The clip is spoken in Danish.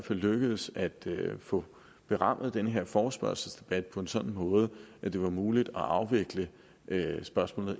lykkedes at få berammet den her forespørgselsdebat på en sådan måde at det var muligt at afvikle spørgsmålene